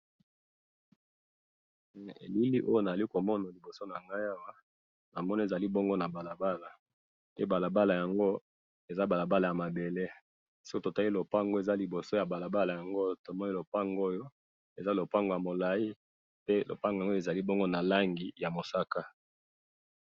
Na moni lopango ya molai na langi ya pembe pembeni na balabala.